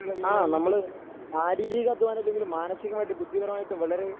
ആ നമ്മള് ശാരീരിക അധ്വാനം ഇല്ലെങ്കിലും മാനസികമായിട്ട് ബുദ്ധിപരമായിട്ട് വളരെ